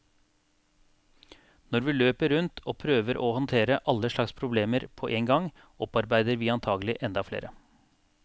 Når vi løper rundt og prøver å håndtere alle slags problemer på én gang, opparbeider vi antagelig enda flere.